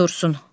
Dursun.